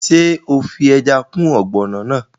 Ṣé o fi ẹja kún ọ̀gbọ̀nọ̀ náà?